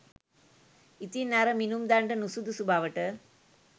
ඉතින් අර මිනුම් දණ්ඩ නුසුදුසු බවට